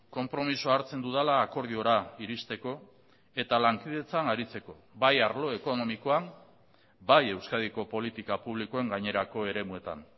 konpromisoa hartzen dudala akordiora iristeko eta lankidetzan aritzeko bai arlo ekonomikoan bai euskadiko politika publikoen gainerako eremuetan